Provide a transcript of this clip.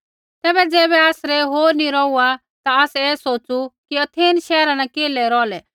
तैबै ज़ैबै आसरै होर नी रौहुआ ता आसै ऐ सोच़ु कि अथेन शैहरा न केल्है रौहलै